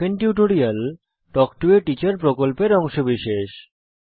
spoken tutorial talk to a teacher প্রকল্পের অংশবিশেষ